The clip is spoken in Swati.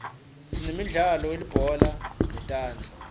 sinemdlalo welibhola letandla